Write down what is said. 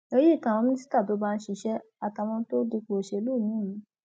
èyí kan àwọn mínísítà tó ń bá a ṣiṣẹ àtàwọn tó dipò òṣèlú míín mú